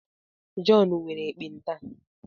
Jọn nwere ekpenta